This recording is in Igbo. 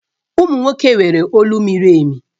Ụmụ nwoke nwere olu miri emi